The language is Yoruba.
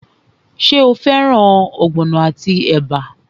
Ṣé o fẹ́ràn ogbono àti ẹ̀bà?